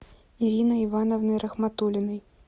ириной ивановной рахматулиной